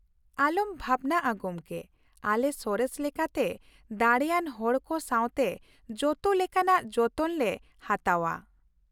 ᱟᱞᱚᱢ ᱵᱷᱟᱵᱱᱟᱜᱼᱟ ᱜᱚᱢᱠᱮ, ᱟᱞᱮ ᱥᱚᱨᱮᱥ ᱞᱮᱠᱟᱛᱮ ᱫᱟᱲᱮᱭᱟᱱ ᱦᱚᱲ ᱠᱚ ᱥᱟᱶᱛᱮ ᱡᱚᱛᱚ ᱞᱮᱠᱟᱱᱟᱜ ᱡᱚᱛᱚᱱ ᱞᱮ ᱦᱟᱛᱟᱣᱼᱟ ᱾